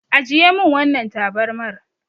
Ajiye min wannan tabarmar.